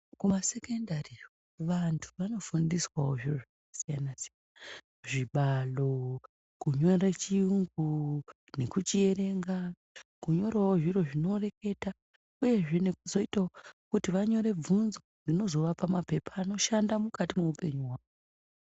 Kumasekondari iyo vantu vanofundiswawo zviro zvakasiyana siyana. Zvibalo, kunyora chiyungu nekuchierenga, kunyorawo zviro zvinoreketa uyezve nekuzoitawo kuti vanyore bvunzo dzinozovapa mapepa anoshanda mukati mweupenyu hwawo.